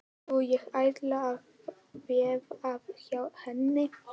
Jú, ég ætla að veða hjá henni.